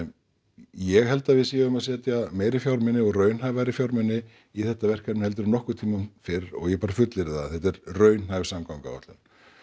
ég held að við séum að setja meiri fjármuni og raunhæfari fjármuni í þetta verkefni heldur en nokkurn tímann fyrr og ég bara fullyrði það að þetta er raunhæf samgönguáætlun